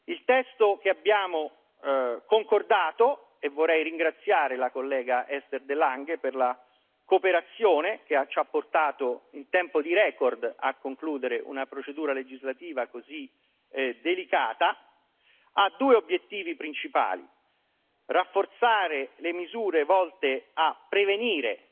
Il testo che abbiamo concordato e vorrei ringraziare la collega Esther de Lange per la cooperazione, che ci ha portato in tempo di record a concludere una procedura legislativa così delicata ha due obiettivi principali da un lato rafforzare le misure volte a prevenire